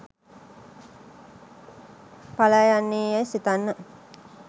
පලායන්නේ යැයි සිතන්න